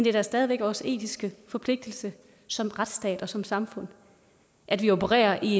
er da stadig væk vores etiske forpligtelse som retsstat og som samfund at vi opererer i